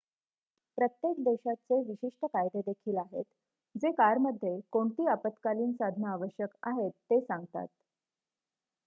प्रत्येक देशाचे विशिष्ट कायदे देखील आहेत जे कारमध्ये कोणती आपत्कालीन साधनं आवश्यक आहेत ते सांगतात